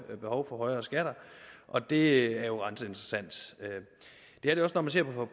er behov for højere skatter og det er jo ret interessant det er det også når man ser